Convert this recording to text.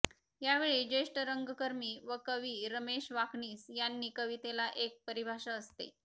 यावेळी ज्येष्ठ रंगकर्मी व कवी रमेश वाकनीस यांनी कवितेला एक परिभाषा असते